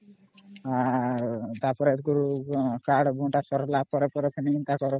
ତା ପରେ ପୁଣି କାର୍ଡ ବଣ୍ଟା ସରିଲା ପରେ ପୁଣି